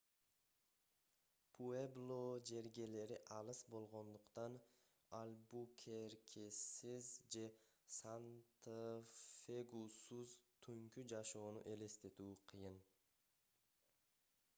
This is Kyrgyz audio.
пуэбло жергелери алыс болгондуктан альбукеркесиз же санта-фегусуз түнкү жашоону элестетүү кыйын